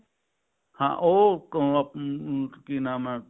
ਹਾਂ ਉਹ ਅਮ ਅਮ ਕੀ ਨਾਮ ਹੈ